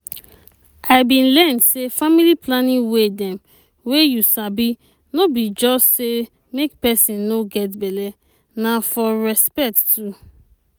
i bin learn say family planning way dem wey you sabi no be just say make peson no get belle na for respect too